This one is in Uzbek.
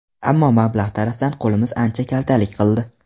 Ammo... mablag‘ tarafdan qo‘limiz ancha kaltalik qildi.